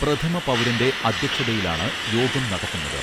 പ്രഥമ പൗരന്റെ അധ്യക്ഷതയിലാണ് യോഗം നടക്കുന്നത്